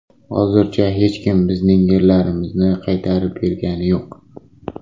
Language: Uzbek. Hozircha hech kim bizning yerlarimizni qaytarib bergani yuq.